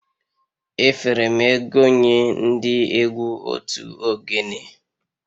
Efere m ego nye ndị egwu otu ogene